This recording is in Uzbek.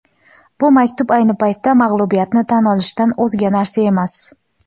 Bu maktub – ayni paytda mag‘lubiyatni tan olishdan o‘zga narsa emas.